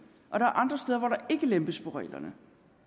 lempe reglerne